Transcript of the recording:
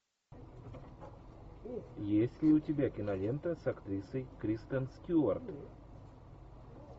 есть ли у тебя кинолента с актрисой кристен стюарт